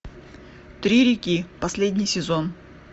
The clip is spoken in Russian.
три реки последний сезон